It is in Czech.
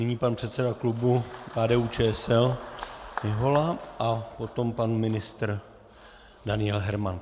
Nyní pan předseda klubu KDU-ČSL Mihola a potom pan ministr Daniel Herman.